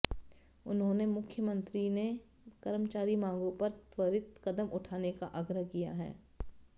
उन्होंने मुख्यमंत्री ने कर्मचारी मांगों पर त्वरित कदम उठाने का आग्रह किया है